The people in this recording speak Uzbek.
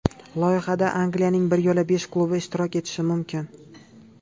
Loyihada Angliyaning bir yo‘la besh klubi ishtirok etishi mumkin.